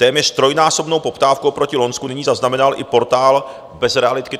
Téměř trojnásobnou poptávku proti loňsku nyní zaznamenal i portál Bezrealitky.cz.